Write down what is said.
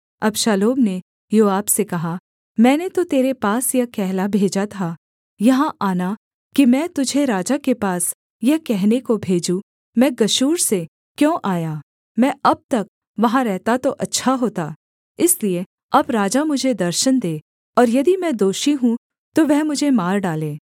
अबशालोम ने योआब से कहा मैंने तो तेरे पास यह कहला भेजा था यहाँ आना कि मैं तुझे राजा के पास यह कहने को भेजूँ मैं गशूर से क्यों आया मैं अब तक वहाँ रहता तो अच्छा होता इसलिए अब राजा मुझे दर्शन दे और यदि मैं दोषी हूँ तो वह मुझे मार डाले